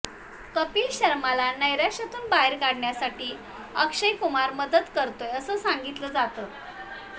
कपिल शर्माला नैराश्यातून बाहेर काढण्यासाठी अक्षय कुमार मदत करतोय असं सांगितलं जातंय